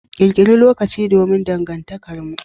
Ƙirƙiri lokaci domn dangantakarmu.